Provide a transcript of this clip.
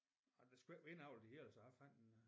Ja det skulle ikke være indavl det hele så jeg fandt en øh